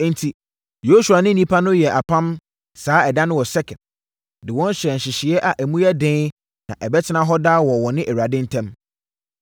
Enti, Yosua ne nnipa no yɛɛ apam saa ɛda no wɔ Sekem, de wɔn hyɛɛ nhyehyɛeɛ a emu yɛ den na ɛbɛtena hɔ daa wɔ wɔne Awurade ntam.